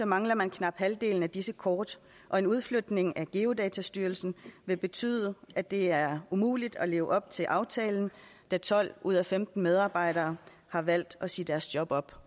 mangler man knap halvdelen af disse kort og en udflytning af geodatastyrelsen vil betyde at det er umuligt at leve op til aftalen da tolv ud af femten medarbejdere har valgt at sige deres job op